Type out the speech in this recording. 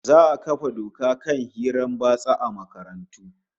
Za'a kafa doka akan hirar batsa a makarantu